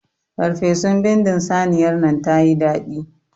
Ferfesun bindin saniyar nan tayi daɗi.